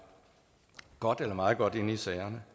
godt eller meget godt inde i sagerne